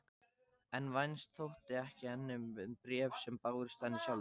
En vænst þótti henni um bréf sem bárust henni sjálfri.